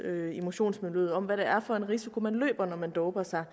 i motionsmiljøet om hvad det er for en risiko man løber når man doper sig